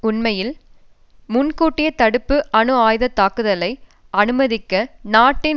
உண்மையில் முன்கூட்டிய தடுப்பு அணு ஆயுதத்தாக்குதலை அனுமதிக்க நாட்டின்